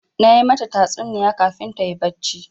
Na yi mata tatsuniya kafin ta yi barci.